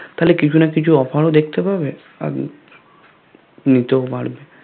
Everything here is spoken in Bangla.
তাহলে কিছু না কিছু Offer ও দেখতে পাবে আর নিতেও পারবে